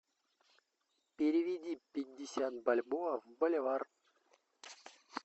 переведи пятьдесят бальбоа в боливар